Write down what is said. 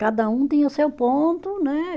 Cada um tinha o seu ponto, né?